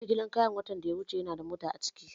Eh, jigilar kayan na watan da ya wuce yanada mota a ciki